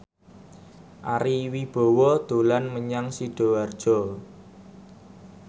Ari Wibowo dolan menyang Sidoarjo